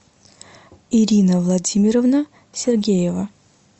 ирина владимировна сергеева